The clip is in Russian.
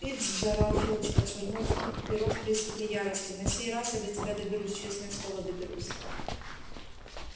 пивз заорал филч отшвырнув перо в приступе ярости на сей раз я до тебя доберусь честное слово доберусь